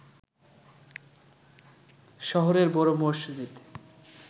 শহরের বড় মসজিদ